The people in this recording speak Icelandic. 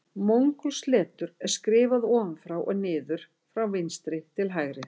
Mongólskt letur er skrifað ofan frá og niður frá vinstri til hægri.